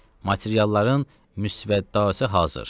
Materialların müsvəddası hazır.